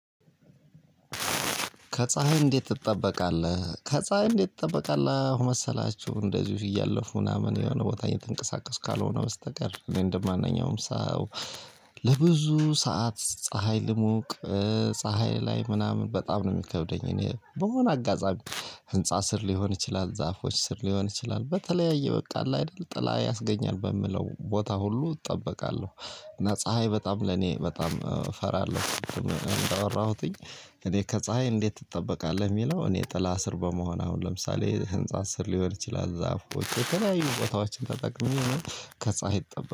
ከፀሀይ እንዴት ትጠበቃለህ? ከፀሀይ እንዴት ትጠበቃለህ መሰላችሁ እንደዚሁ እያለፉ ምናምን የሆነ ቦታ እንተንቀሳቀስ ካልሆነ በስተቀር እኔ እንደማንኛውም ሰው ለብዙ ሰዓት ፀሀይ ልሞቅ ፀሀይ ላይ ምናምን በጣም ነው የሚከብደኝ እኔ በሆነ አጋጣሚ ህንፃ ስር ሊሆን ይችላል፣ ዛፎች ስር ሊሆን ይችላል በተለያየ በቃ አለ አይደል ጥላ ያስገኛል በምለው ቦታ ሁሉ እጠበቃለሁ። እና ፀሀይ በጣም ለእኔ በጣም እፈራለሁ እንዳወራሁትኝ እኔ ከፀሀይ እንዴት ትጠበቃለህ የሚለው እኔ ጥላ ስር በመሆን አሁን ለምሳሌ ህንፃ ስር ሊሆን ይችላል ዛፎች ከላይ ቦታዎችን ተጠቅመን ከፀሀይ እጠበቅ